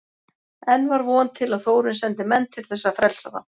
Enn var von til að Þórunn sendi menn til þess að frelsa þá.